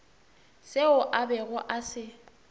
seo a bego a se